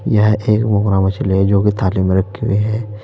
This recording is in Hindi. यह एक मूंगरा मछली है जोकि थाली में रखी हुई है।